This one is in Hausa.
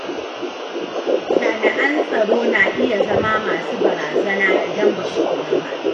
Jami'an tsaro na iya zama masu barazana idan ba su kula ba.